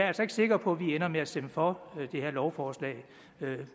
altså ikke sikker på at vi ender med at stemme for det her lovforslag